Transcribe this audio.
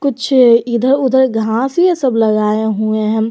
पीछे इधर उधर घास ये सब लगाए हुए हैं।